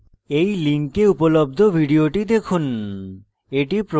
এই link উপলব্ধ video দেখুন